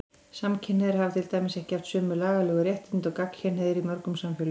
Samkynhneigðir hafa til dæmis ekki haft sömu lagalegu réttindi og gagnkynhneigðir í mörgum samfélögum.